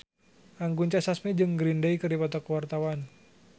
Anggun C. Sasmi jeung Green Day keur dipoto ku wartawan